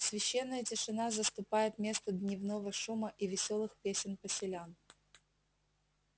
священная тишина заступает место дневного шума и весёлых песен поселян